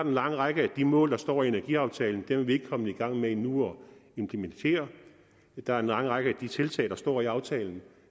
en lang række af de mål der står i energiaftalen er vi ikke kommet i gang med endnu der er en lang række af de tiltag der står i aftalen